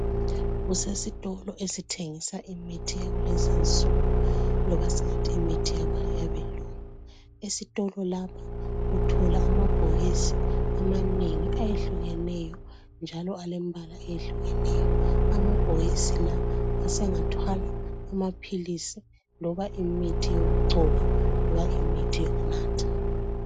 Kusesitolo esithengisa imithi yakulezinsuku noma singathi imithi yabelungu. Esitolo lapha uthola amabhokisi amanengi ayehlukeneyo njalo alembala eyehlukeneyo. Amabhokisi la asengathwala amaphilisi noma imithi yokugcoba, noma imithi yokunatha.